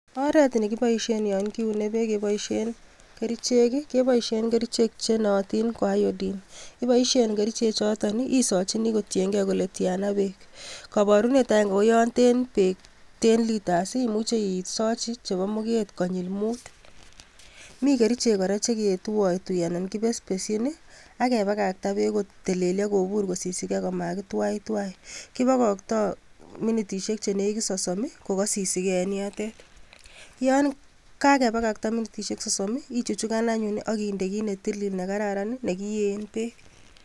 Oret ne kiboishen yon kiene beek keboishen kerichek, kepoishen kerichek chenaatin ko [iodine], ipoishe kerichechoto isaachini kotiengei kole tiana beek, kabarunet agenge ko yon ten beek ten litres imuche isachin chebo muget konyil muut. Mi kerichek kora che kituotui anan kiteshin ake pakakta beek ketililei kopuur kosisikei komakitwaitwai, kipokoktoi minitishiek che nekit sosom kokasisikei eng yotet. Yon kakepakakta minitishiek sosom ichuchukan anyun akinde kiit ne tilil nekararan nekiyen beek.